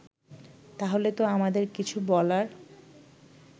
তাহলে তো আমাদের কিছু বলার